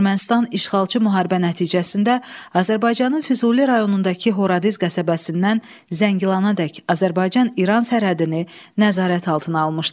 Ermənistan işğalçı müharibə nəticəsində Azərbaycanın Füzuli rayonundakı Horadiz qəsəbəsindən Zəngilanadək Azərbaycan-İran sərhədini nəzarət altına almışdı.